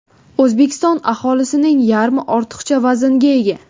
O‘zbekiston aholisining yarmi ortiqcha vaznga ega.